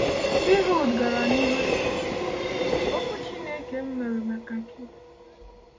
Ehud gara n’ihu sị: “Okwu Chineke m nwere maka gị.”